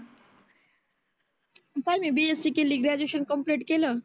पहिल BSc केली graduation complete केलं.